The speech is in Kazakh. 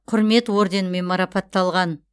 құрмет орденімен марапатталған